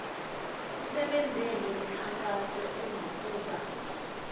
kusetshenzwe ngemikhankaso enokuba